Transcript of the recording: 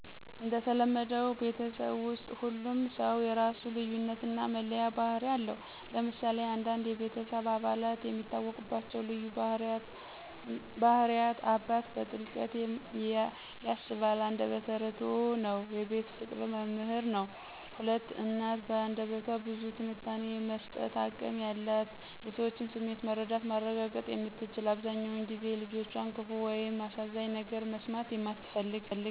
እንደተለመደው ቤተሰብ ውስጥ ሁሉም ሰው የራሱ ልዩነት እና መለያ ባህሪ አለው። ለምሳሌ አንዳንድ የቤተሰብ አባላት የሚታወቁባቸው ልዩ ባህሪያት: 1. አባት: በጥልቀት ያስባል አንደበተ እርዕቱ ነው የቤት ፍቅር መምህር ነው። 2. እናት: በአንደበቷ ብዙ ትንታኔ የመስጠት አቅም ያላት የሰዎችን ስሜት መረዳት ማረጋገጥ የምትችል አብዘሃኛውን ጊዜ የልጆቿን ክፋ ወይም አሳዛኝ ነገር መስማት እማትፈልግ።